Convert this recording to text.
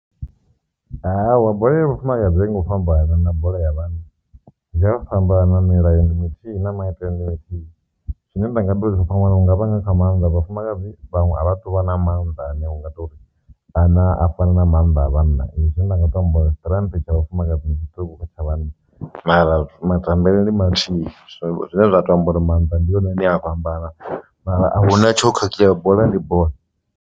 Hawa bola ya vhafumakadzi a i ngoto u fhambana na bola ya vhanna i a fhambana milayo ndi mithihi na maitele ndi mathihi zwine nda nga tori yo nga maanḓa vhafumakadzi vhaṅwe a vha tu vha na mannḓa ane u nga tori kana a fana na mannḓa a vhanna. Zwine nda nga to amba strength tsha vhafumakadzi ndi tshiṱuku kha tsha vhanna mara matambele ndi mathihi zwine zwa to amba uri maanḓa ndi one a vha ambara mara ahuna tsho khakhea bola ndi bola.